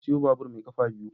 Na sayo babur mai kafa biyu.